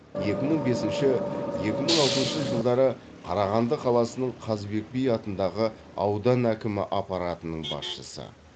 екі мың бесінші екі мың алтыншы жылдары қарағанды қаласының қазыбек би атындағы аудан әкімі аппаратының басшысы